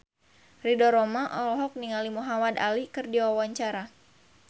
Ridho Roma olohok ningali Muhamad Ali keur diwawancara